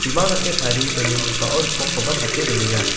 bimang dake tarie donenggipao ripokkoba pate donenga.